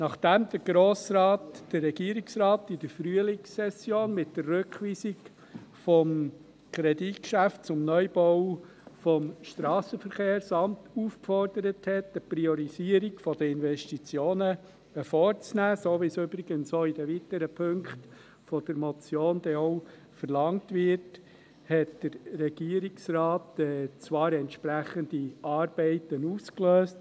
Nachdem der Grosse Rat den Regierungsrat in der Frühlingssession mit der Rückweisung des Kreditgeschäfts zum Neubau des Strassenverkehrsamts aufgefordert hatte, eine Priorisierung der Investitionen vorzunehmen – so wie es übrigens auch in den weiteren Punkten der Motion verlangt wird – löste der Regierungsrat zwar die entsprechenden Arbeiten aus.